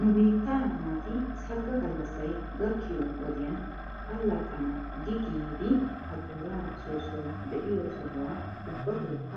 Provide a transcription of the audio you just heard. Nu biittaa naati sagga gallassay gakkiyoo wodiyan allaxxana gi giidi ajjooraa soossoy de'iyoo sohuwaa ubbatokka